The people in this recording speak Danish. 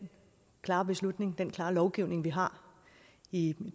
klare beslutning den klare lovgivning vi har i